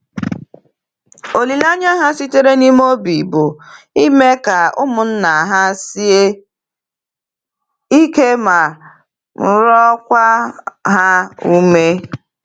Olileanya ha sitere n’ime obi bụ ime ka ụmụnna ha sie ike ma rịọkwa ha ume.